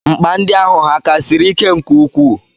Nkpa ndi ahụ hà ka siri ike nke ukwuu?